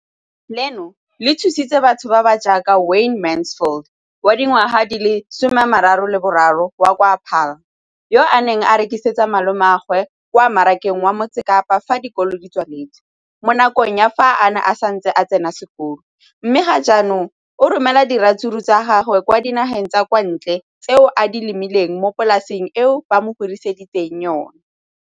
leno le thusitse batho ba ba jaaka Wayne Mansfield, 33, wa kwa Paarl, yo a neng a rekisetsa malomagwe kwa Marakeng wa Motsekapa fa dikolo di tswaletse, mo nakong ya fa a ne a santse a tsena sekolo, mme ga jaanong o romela diratsuru tsa gagwe kwa dinageng tsa kwa ntle tseo a di lemileng mo polaseng eo ba mo hiriseditseng yona.